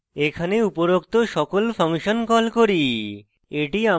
এখানে উপরোক্ত সকল ফাংশন call করি